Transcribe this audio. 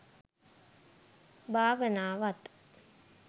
භාවනාවත්